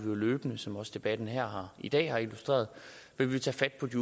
løbende som også debatten her i dag har illustreret tage fat på de